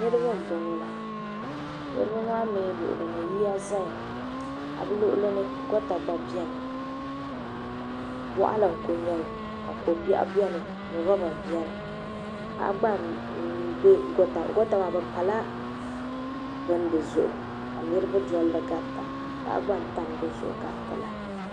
Niriba m boŋɔ la niriba maa mee luɣuli ni yiya zaya ka bɛ luɣuli no goota zaya boɣali n kuli nyɛli kobiɛɣu biɛni loba biɛni goota maa bɛ pala bini dizuɣu ka niriba dolli garita paɣa gba n dolli gariti la.